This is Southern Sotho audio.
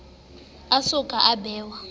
a so ka a bewa